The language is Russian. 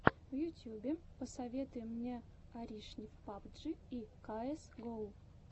в ютьюбе посоветуй мне аришнев пабджи и каэс гоу